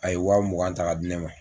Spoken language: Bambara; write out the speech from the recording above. A ye waa mugan ta k'a di ne ma.